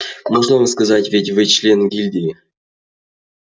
можно вам сказать ведь вы член гильдии